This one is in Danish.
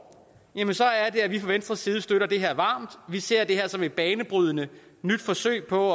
er det at vi fra venstres side støtter det her varmt vi ser det her som et banebrydende nyt forsøg på